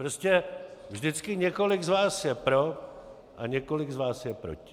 Prostě vždycky několik z vás je pro a několik z vás je proti.